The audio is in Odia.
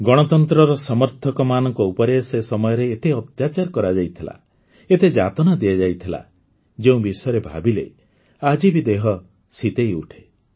ଗଣତନ୍ତ୍ରର ସମର୍ଥକମାନଙ୍କ ଉପରେ ସେ ସମୟରେ ଏତେ ଅତ୍ୟାଚାର କରାଯାଇଥିଲା ଏତେ ଯାତନା ଦିଆଯାଇଥିଲା ଯେଉଁ ବିଷୟରେ ଭାବିଲେ ଆଜି ବି ଦେହ ଶୀତେଇଉଠେ